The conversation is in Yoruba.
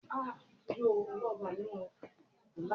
Ẹrin jẹ́ ẹranko tó tóbi jù lọ láágbàyé.